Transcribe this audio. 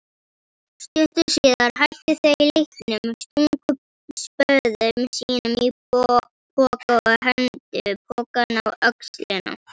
Stuttu síðar hættu þau leiknum, stungu spöðum sínum í poka og hengdu pokann á öxlina.